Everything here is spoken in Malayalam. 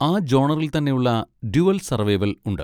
ആ ജോണറിൽ തന്നെയുള്ള 'ഡ്യുവൽ സർവൈവൽ' ഉണ്ട്.